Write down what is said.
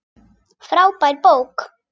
Frábær bók.